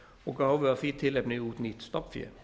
og gáfu af því tilefni út nýtt stofnfé